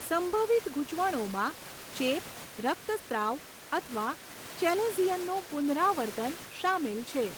સંભવિત ગૂંચવણોમાં ચેપ, રક્તસ્રાવ અથવા ચેલેઝિયનનું પુનરાવર્તન શામેલ છે.